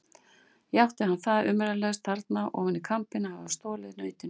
Játti hann það umyrðalaust þarna ofan í kambinn að hafa stolið nautinu.